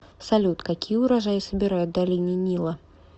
салют какие урожаи собирают в долине нила